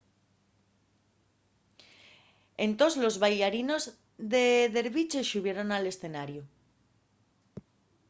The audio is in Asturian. entós los baillarinos de derviche xubieron al escenariu